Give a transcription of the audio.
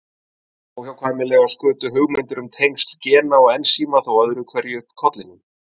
Óhjákvæmilega skutu hugmyndir um tengsl gena og ensíma þó öðru hverju upp kollinum.